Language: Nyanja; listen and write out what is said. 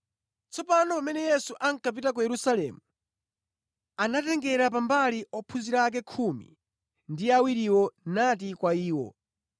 Tsopano pamene Yesu ankapita ku Yerusalemu, anatengera pambali ophunzira ake khumi ndi awiriwo nati kwa iwo,